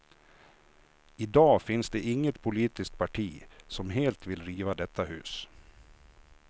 I dag finns det inget politiskt parti som helt vill riva detta hus.